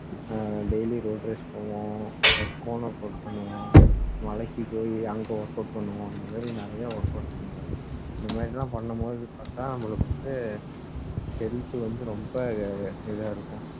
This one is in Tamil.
daily road race பண்ணுவோம் corner push பண்ணுவோம் மலைக்கு போய் அங்க work out பண்ணுவோம் இந்த மாதிரி நிறைய work out பண்ணுவோம் இந்த மாதிரி எல்லாம் பண்ணும் போது பார்த்தா நம்மளுக்கு வந்து health வந்து ரொம்ப இதா இருக்கும்